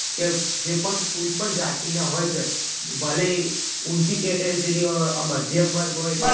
તો, જે પણ, કોઈ પણ જાતિના હોય છે. ભલે ઈ ઊંચી category ઓ મધ્યમ વર્ગ હોય,